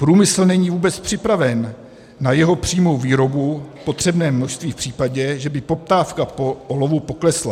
Průmysl není vůbec připraven na jeho přímou výrobu v potřebném množství v případě, že by poptávka po olovu poklesla.